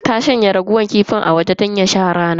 Ta shanya raguwar kifin a waje don ya sha rana.